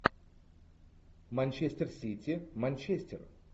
манчестер сити манчестер